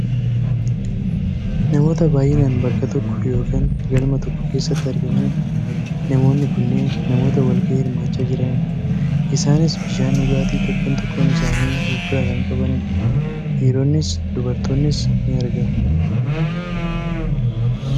Namoota baayyinaan bakka tokko yookaan galma tokko keessatti argamanidha. Namoonni kunneen namoota wal gahii hirmaachaa jiranidha. Isaanis bishaan dhugaatii tokkoon tokkoon isaanii of biraa kan qabanidha. Dhiironnis dubartoonnis ni argamu.